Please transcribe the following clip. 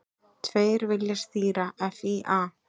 Tveir vilja stýra FÍA